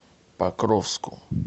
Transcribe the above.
покровску